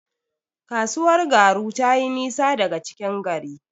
Kasuwar Garu tayi nisa daga cikin gari.